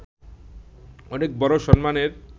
অনেক বড় সম্মানের